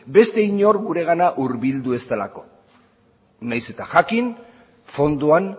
beste inor guregana hurbildu ez delako nahiz eta jakin fondoan